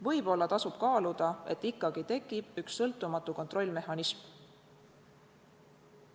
Võib-olla tasub kaaluda, et ikkagi tekiks üks sõltumatu kontrollmehhanism.